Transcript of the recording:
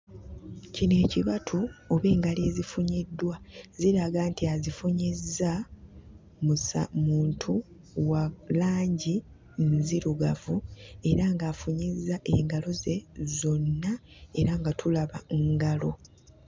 Kino ekibatu oba engalo ezifunyiddwa ziraga nti azifunyizza musa muntu wa langi nzirugavu era ng'afunyizza engalo ze zonna era nga tulaba ngalo.